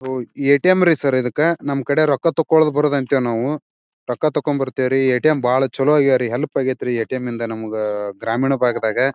ಓ ATM. ರೀ ಸರ್ರ ಇದಕ್ಕ ನಮ್ ಕಡೆ ರೊಕ್ಕ ತಕೋಬರೋದ್ ಅಂತೀವ್ ನಾವ್. ರೊಕ್ಕ ಥಕೊನ್ ಬರ್ತಿವರಿ. ಎ.ಟಿ.ಎಂ. ಭಾಳ್ ಚಲೋ ಆಗ್ಯಾವ ರೀ ಹೆಲ್ಪ್ ಆಗೈತ್ ರೀ ಎ.ಟಿ.ಎಂ. ಇಂದ ಗ್ರಾಮೀಣ ಬಾಗದಗ.